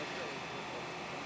Düzdürmü?